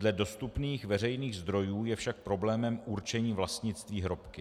Dle dostupných veřejných zdrojů je však problémem určení vlastnictví hrobky.